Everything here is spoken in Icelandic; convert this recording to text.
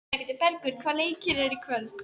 Bergur, hvaða leikir eru í kvöld?